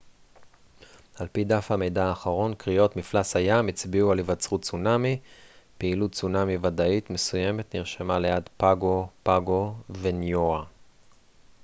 על פי דף המידע האחרון קריאות מפלס הים הצביעו על היווצרות צונמי פעילות צונמי ודאית מסוימת נרשמה ליד פאגו פאגו וניואה